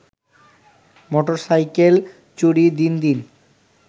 motorcycle চুরি দিন দিন